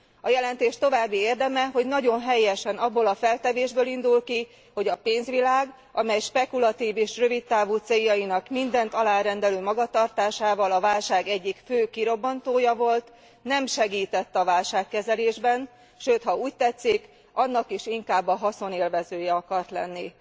A jelentés további érdeme, hogy nagyon helyesen abból a feltevésből indul ki, hogy a pénzvilág, amely spekulatív és rövid távú céljainak mindent alárendelő magatartásával a válság egyik fő kirobbantója volt, nem segített a válságkezelésben, sőt ha úgy tetszik annak is inkább a haszonélvezője akart lenni.